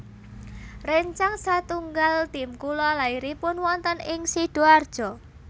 Rencang satunggal tim kula lairipun wonten ing Sidoarjo